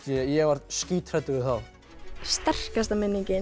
ég var skíthræddur við þá sterkasta minningin